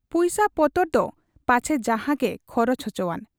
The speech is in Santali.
ᱯᱩᱭᱥᱟᱹ ᱯᱚᱛᱚᱨ ᱫᱚ ᱯᱟᱪᱷᱮ ᱡᱟᱦᱟᱸᱜᱮ ᱠᱷᱚᱨᱚᱪ ᱚᱪᱚᱣᱟᱱ ᱾